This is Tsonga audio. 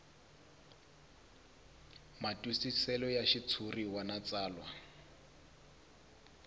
matwisiselo ya xitshuriwa na tsalwa